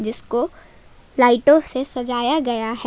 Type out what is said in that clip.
इसको लाइटों से सजाया गया है।